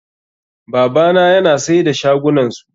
Babana yana sai da shagunansu.